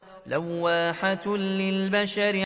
لَوَّاحَةٌ لِّلْبَشَرِ